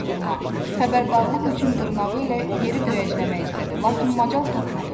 Bembi qışqırmaq, xəbərdarlıq üçün dırnağı ilə yeri döyəcləmək istədi, lakin macal tapmadı.